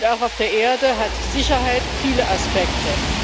Und auch auf der Erde hat Sicherheit viele Aspekte.